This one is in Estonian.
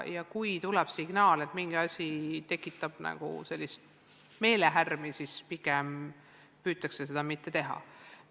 Ja kui tuleb signaal, et mingi asi tekitab meelehärmi, siis pigem püütakse seda mitte tekitada.